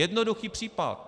Jednoduchý případ.